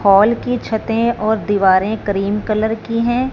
Hall की छतें और दीवारें क्रीम कलर की हैं।